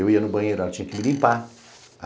Eu ia no banheiro, ela tinha que me limpar.